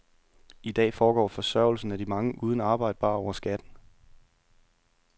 I dag foregår forsørgelsen af de mange uden arbejde bare over skatten.